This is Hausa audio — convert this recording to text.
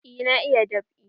Eh na iya dab'i.